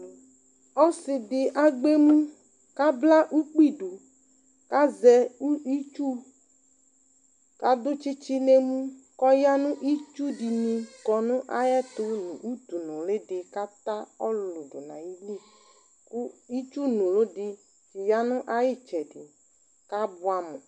Ɔsɩ dɩ agbɛ emu;b kabla ukpi du, kazɛ itsu, kadʋ tsɩtsɩ n' emu kɔya nitsu dɩnɩ kɔ nʋ ayɛtʋ nʋ utu nʋlɩ dɩ kata ɔlʋlʋ dʋ nayili kʋ itsu nʋlɩ dɩ ya nʋ ayɩtsɛdɩ k' abʋɛ amʋ